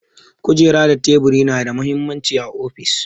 Kujeru da tebur na da mahimmanci a ofis.